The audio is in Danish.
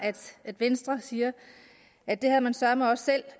at venstre siger at det havde man søreme også selv